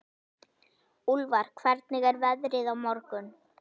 Úlfar, hvernig er veðrið á morgun?